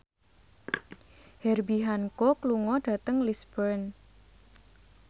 Herbie Hancock lunga dhateng Lisburn